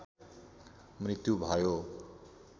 मृत्यु भयो